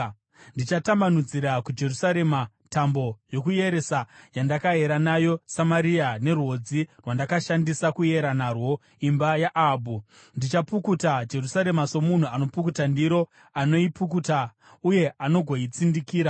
Ndichatambanudzira kuJerusarema tambo yokuyeresa yandakayera nayo Samaria nerwodzi rwandakashandisa kuyera narwo imba yaAhabhu. Ndichapukuta Jerusarema somunhu anonopukuta ndiro, anoipukuta uye agoitsindikira.